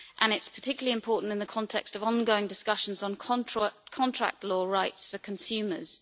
This is particularly important in the context of ongoing discussions on contract law rights for consumers.